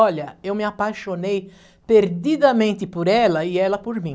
Olha, eu me apaixonei perdidamente por ela e ela por mim.